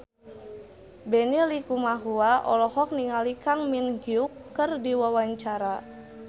Benny Likumahua olohok ningali Kang Min Hyuk keur diwawancara